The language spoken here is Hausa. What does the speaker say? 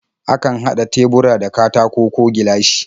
Akan haɗa tebura da katako ko gilashi.